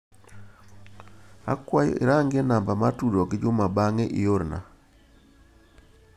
Akwayo irang'i namba mar tudruok gi Juma bang'e iorna.